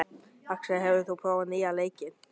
Alexa, hefur þú prófað nýja leikinn?